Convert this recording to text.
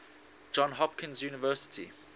johns hopkins university